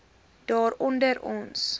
daar onder ons